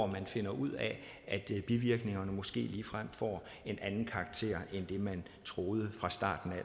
man finder ud af at bivirkningerne måske ligefrem får en anden karakter end det man troede